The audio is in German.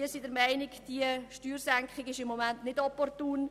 Wir sind der Meinung, diese Steuersenkung sei gegenwärtig nicht opportun.